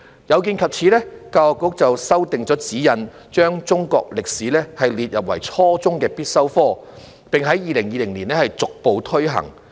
有見及此，教育局修訂了指引，把中國歷史列為初中必修科，並在2020年逐步推行。